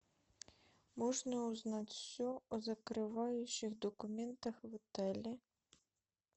можно узнать все о закрывающих документах в отеле